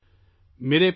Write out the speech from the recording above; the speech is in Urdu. نئی دہلی، 26/جون 2022